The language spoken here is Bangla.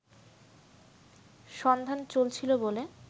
সন্ধান চলছিল বলে